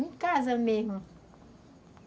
Em casa mesmo.